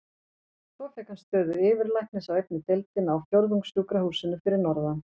Svo fékk hann stöðu yfirlæknis á einni deildinni á Fjórðungssjúkrahúsinu fyrir norðan.